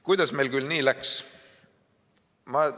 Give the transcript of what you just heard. Kuidas meil küll nii läks?